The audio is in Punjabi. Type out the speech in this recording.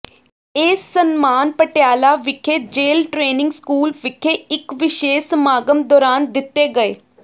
ਇਹ ਸਨਮਾਨ ਪਟਿਆਲਾ ਵਿਖੇ ਜੇਲ ਟ੍ਰੇਨਿੰਗ ਸਕੂਲ ਵਿਖੇ ਇਕ ਵਿਸੇਸ਼ ਸਮਾਗਮ ਦੌਰਾਨ ਦਿਤੇ ਗਏ